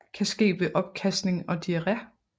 Kan ske ved opkasting og diare